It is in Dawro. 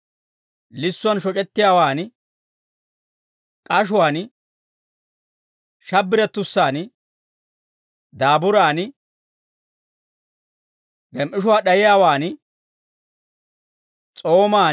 lissuwaan shoc'ettiyaawaan, k'ashuwaan, shabbirettussaan, daaburaan, gem"ishuwaa d'ayiyaawan, s'oomaan,